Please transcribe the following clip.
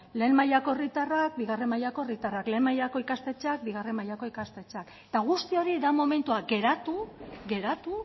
lehen mailako herritarrak bigarren mailako herritarrak lehen mailako ikastetxeak bigarren mailako ikastetxeak eta guzti hori da momentua geratu